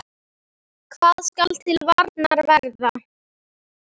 Handa tveimur til þremur